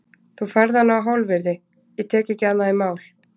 Þú færð hana á hálfvirði, ég tek ekki annað í mál.